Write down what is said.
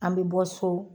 An bɛ bɔ so